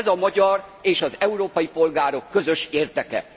Ez a magyar és az európai polgárok közös érdeke.